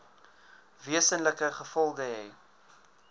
wesenlike gevolge hê